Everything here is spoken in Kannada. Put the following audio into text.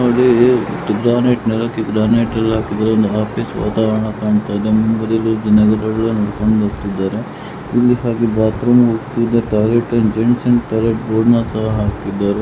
ಗ್ರಾನೈಟ್ ನೆಲಕ್ಕೆ ಗ್ರಾನೈಟ್ ಎಲ್ಲಾ ಹಾಕಿದ್ದಾರೆ ಒಂದು ಆಫೀಸ್ ವಾತಾವರಣ ಕಾಣ್ತಾ ಇದೆ.